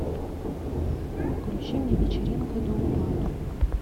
включи мне вечеринка до упаду